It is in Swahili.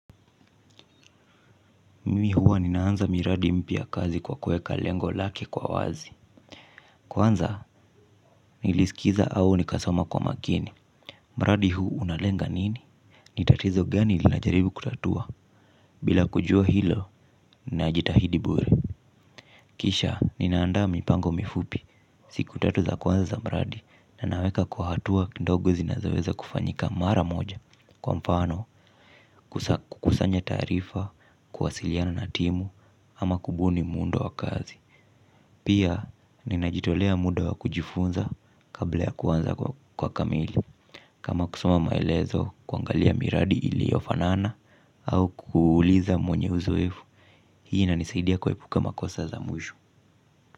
Mimi huwa ninaanza miradi mpya kazi kwa kuweka lengo lake kwa wazi. Kwanza, nilisikiza au nikasoma kwa makini. Mradi huu unalenga nini? Ni tatizo gani linajaribu kutatua. Bila kujua hilo, ninajitahidi bure. Kisha, ninaandaa mipango mifupi. Siku tatu za kwanza za Mradi Na naweka kwa hatua kidogo zinazoweza kufanyika mara moja. Kwa mfano, kukusanya taarifa, kuwasiliana na timu ama kubuni muundo wa kazi. Pia ninajitolea muda wa kujifunza kabla ya kuanza kwa kamili. Kama kusoma maelezo kuangalia miradi iliyofanana au kuuliza mwenye uzoefu. Hii inanisaidia kuepuka makosa za mwisho.